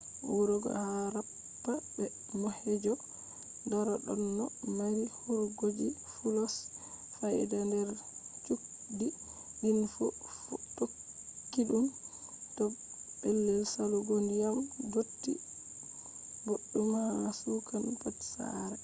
wuroji harappa be mohenjo-daro ɗonno mari hurgoji fulos faida nder chudi din fu tokkiɗun do pellel salugo ndiyam dotti boɗɗum ha kusan pat sare